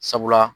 Sabula